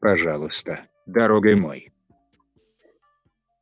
пожалуйста дорогой мой